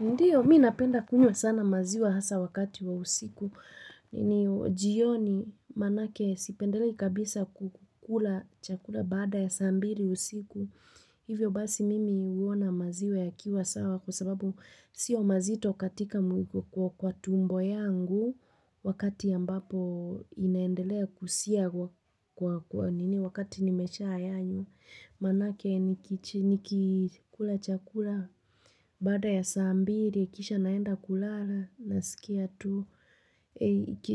Ndio, mi napenda kunywa sana maziwa hasa wakati wa usiku. Ni jioni manake sipendelei kabisa kukula chakula baada ya saa mbili usiku. Hivyo basi mimi huona maziwa yakiwa sawa kwa sababu sio mazito katika kwa tumbo yangu wakati ambapo inaendelea kusia kwa nini wakati nimesha ayanyo. Manake nikikula chakula baada ya saa mbili, kisha naenda kulala, nasikia tu.